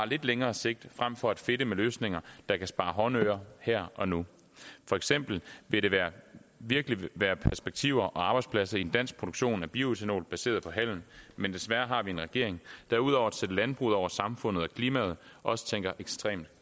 lidt længere sigt frem for at fedte med løsninger der kan spare håndører her og nu for eksempel ville der virkelig være perspektiver og arbejdspladser i en dansk produktion af bioætanol baseret på halm men desværre har vi en regering der ud over at sætte landbruget over samfundet og klimaet også tænker ekstremt